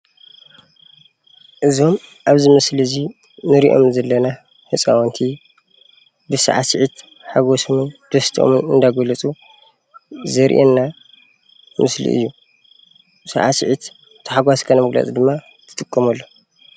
እዞም ኣብ እዚ ምስሊ እንሪኦም ዘለና ህፃውንቲ ብሳዕሲዒት ሓጎሶምን ደስተኦን እንዳገለፁ ዘርእየና ምስሊ እዩ፡፡ ሳዕሲዒት ተሓጓስካ መግለፂ ድማ ትጥቀመሉ፡፡